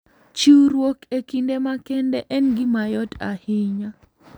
Chiwruok e kinde makende en gima yot ahinya.